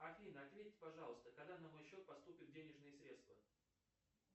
афина ответь пожалуйста когда на мой счет поступят денежные средства